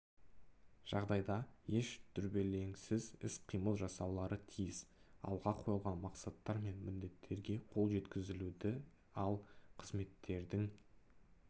жағдайда еш дүрбелеңсіз іс-қимыл жасаулары тиіс алға қойылған мақсаттар мен міндеттерге қол жеткізілуді ал қызметтердің